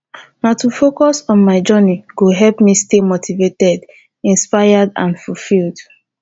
na to focus on my journey go help me stay motivated inspired and fulfilled